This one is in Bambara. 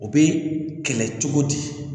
O bɛ kɛlɛ cogo di